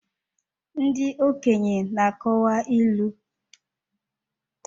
Ndị okenye na-akọwa ilu.